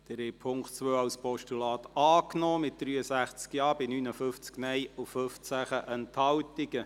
Sie haben den Punkt 2 als Postulat angenommen, mit 63 Ja- gegen 59 Nein-Stimmen bei 15 Enthaltungen.